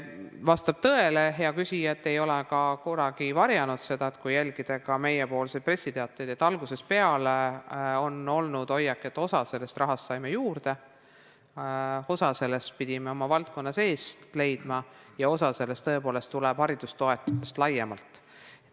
Vastab tõele, hea küsija – ja me ei ole seda kunagi varjanud, kui jälgida meie pressiteateid –, et algusest peale on meil olnud hoiak, et osa sellest rahast saime juurde, kuid osa sellest pidime leidma oma valdkonna seest ja osa sellest tuleb tõepoolest haridustoetustest laiemalt.